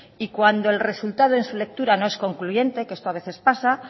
y cuando el resultado en su lectura no es concluyente que esto a veces pasa